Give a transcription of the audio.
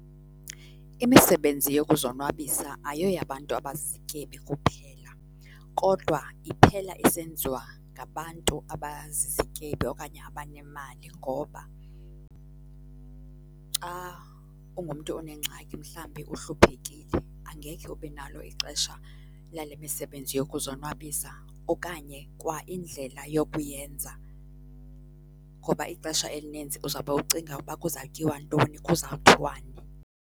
Imisebenzi yokuzonwabisa ayoyabantu abazizityebi kuphela, kodwa iphela isenziwa ngabantu abazizityebi okanye abanemali ngoba xa ungumntu onengxaki, mhlambi uhluphekile angekhe ube nalo ixesha lale misebenzi yokuzonwabisa, okanye kwa indlela yokuyenza ngoba ixesha elinintsi uzawube ucinga uba kuzawutyiwa ntoni kuzawuthiwani.